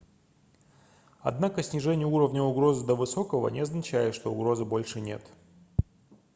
однако снижение уровня угрозы до высокого не означает что угрозы больше нет